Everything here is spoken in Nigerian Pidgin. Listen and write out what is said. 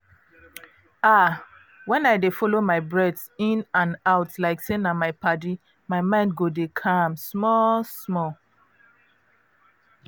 ah! when i dey follow my breath in and out like say na my padi my mind go dey calm small-small.